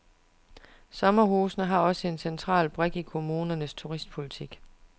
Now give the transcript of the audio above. Sommerhusene er også en central brik i kommunernes turistpolitik.